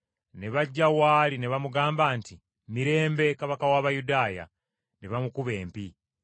ne bajja w’ali ne bamugamba nti, “Mirembe, Kabaka w’Abayudaaya!” Ne bamukuba empi.